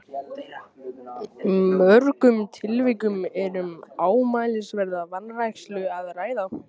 mörgum tilvikum er um ámælisverða vanrækslu að ræða.